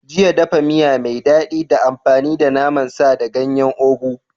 Jiya, dafa miya mai daɗi ta amfani da naman sa da ganyen ugu